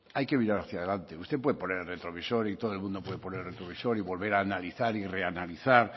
hay que mirar hacia adelante usted puede poner el retrovisor y todo el mundo puede poner el retrovisor y volver a analizar y reanalizar